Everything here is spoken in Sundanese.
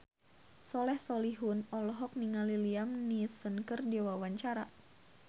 Soleh Solihun olohok ningali Liam Neeson keur diwawancara